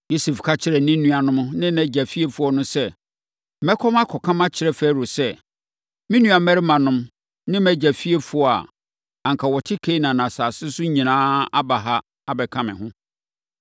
Yosef ka kyerɛɛ ne nuanom no ne nʼagya fiefoɔ no sɛ, “Mɛkɔ makɔka makyerɛ Farao sɛ, ‘Me nuammarimanom ne mʼagya fiefoɔ a na anka wɔte Kanaan asase so nyinaa aba ha abɛka me ho.